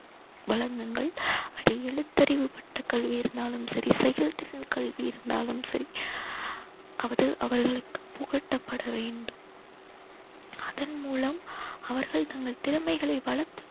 வழங்குங்கள். எழுத்தறிவு பட்ட கல்வி இருந்தாலும் சரி செயல்திறன் கல்வி இருந்தாலும் சரி அது அவர்களுக்கு புகட்டப்பட வேண்டும். அதன் மூலம் அவர்கள் தங்கள் திறமைகளை வளர்த்து